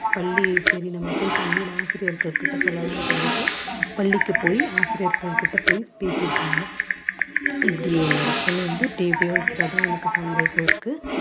பள்ளி சரி நம்ம போய் பள்ளியில ஆசிரியர்கள் கிட்ட சொல்லலாம்னு சொல்லிட்டு பள்ளிக்கு போயி ஆசிரியர்கள் கிட்ட போய் பேசி இருக்காங்க இப்படி என்னோட பொண்ணு வந்து இப்படியே உபயோகிக்கிறதா எனக்கு சந்தேகம் இருக்கு.